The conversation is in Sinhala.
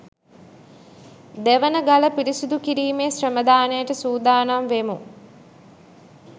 දෙවනගල පිරිසිදු කිරිමෙ ශ්‍රමදානයට සුදානම් වෙමු